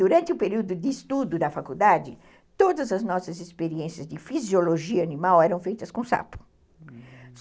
Durante o período de estudo da faculdade, todas as nossas experiências de fisiologia animal eram feitas com sapo.